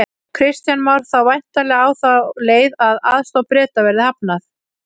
Kristján Már: Þá væntanlega á þá leið að aðstoð Breta verði hafnað?